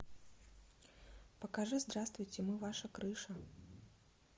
покажи здравствуйте мы ваша крыша